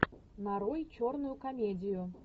нарой черную комедию